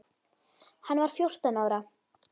Hann var fjórtán ára.